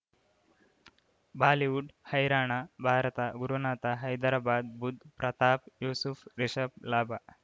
Bollywood ಹೈರಾಣ ಭಾರತ ಗುರುನಾಥ ಹೈದರಾಬಾದ್ ಬುಧ್ ಪ್ರತಾಪ್ ಯೂಸುಫ್ ರಿಷಬ್ ಲಾಭ